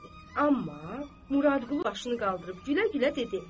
Amma Muradqulu başını qaldırıb gülə-gülə dedi: